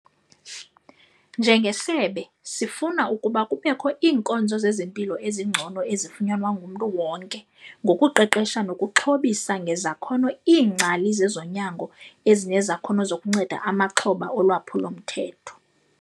"Njengesebe, sifuna ukuba kubekho iinkonzo zezempilo ezingcono ezifunyanwa ngumntu wonke ngokuqeqesha nokuxhobisa ngezakhono iingcali zezonyango ezinezakhono zokuncenda amaxhoba olwaphulo-mthetho."